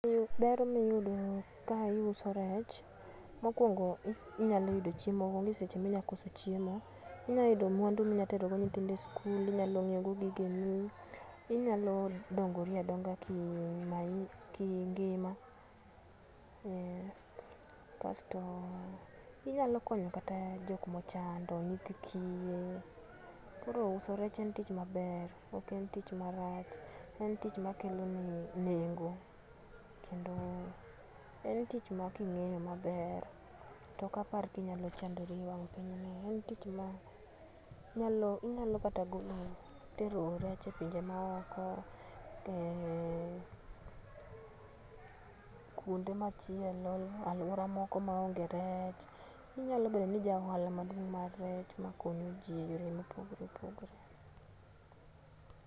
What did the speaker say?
Ber miyudo kaiuso rech ,mokuongo inyalo yudo chiemo, onge seche minyalo koso chiemo, inyalo yudo mwandu minyalo tero go nyithindo e skul, inyalo nyiewogo gigeni, inyalo dongori adonga ki maisha ki ngima, eeh, kasto inyalo konyo kata jok mochando, nyithii kiye, koro uso rech en tich maber ok en tich marach, en tich makeloni nengo, kendo en tich making'iyo maber to okapar kinyalo chandori e wang' pinyni, en tich ma nyalo inyalo kata golo tero rech e pinje maoko eeh, kuonde machielo, aluora moko ma onge rech , inyalo bedo ni jaohala maduong' mar rech makonyo ji eyore opogore opogore.